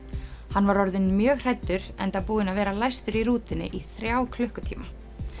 hann var orðinn mjög hræddur enda búinn að vera læstur í rútunni í þrjá klukkutíma